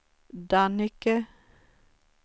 Dannike